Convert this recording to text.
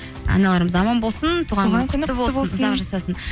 аналарымыз аман болсын туған күні құтты болсын ұзақ жасасын